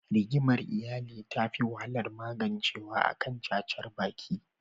Rigimar iyali tafi wahalar magancewa akan cacar baki.